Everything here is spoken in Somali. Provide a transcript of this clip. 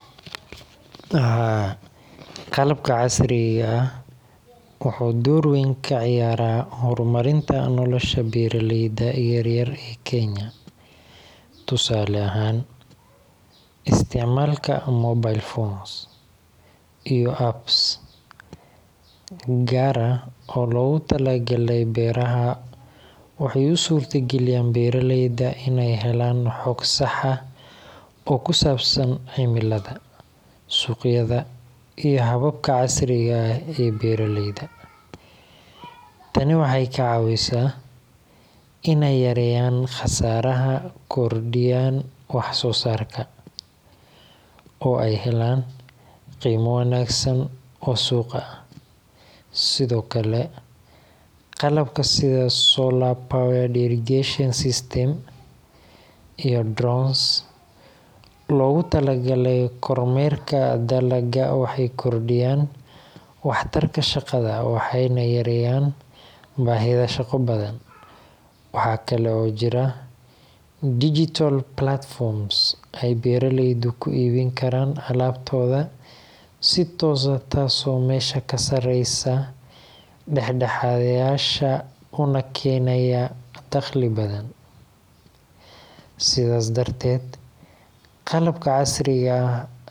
Haa qalabka casirga ah wuxuu dor weyn ka ciyara hormarinta nolasha beera leyda yar yar ee kenya tusale ahan isticmalka mobile phones iyo up gar ah oo logu talagale beeraha waxee is in beera leyda ee helan xog sax ah oo kusabsan ximilaada suqyaada iyo hababka casriyesan ee beera leyda tani waxee ka cawisa in ee yareyan kordiyan wax sosarka oo ee ka helan qimo wanagsan oo suqa ah sithokale qalabka solar power irrigation system iyo logu tala gale kor meerka dalaga waxee kordiyan wax tarka shaqadha waxena yareyan bahida shaqo badan, waxaa kalo jiraa digital platforms waxee beera leydu ku ibin karan alabtodha si tos ah kasareysa daxadhayasha una kenaya daqli badan sithas darteed qalabka casriga ah.